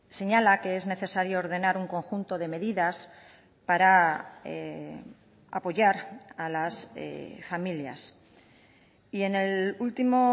señala que es necesario ordenar un conjunto de medidas para apoyar a las familias y en el último